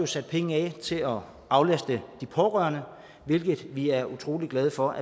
sat penge af til at aflaste de pårørende hvilket vi er utrolig glade for